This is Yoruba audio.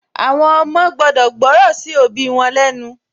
Àwọn ọmọ gbudọ̀ gbọ́ràn sí òbí wọn lẹ́ nu